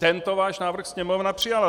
Tento váš návrh Sněmovna přijala.